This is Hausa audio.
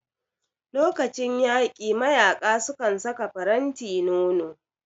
Lokacin yaƙi mayaƙa sukan saka faranti nono